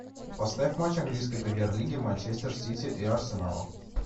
поставь матч английской премьер лиги манчестер сити и арсенала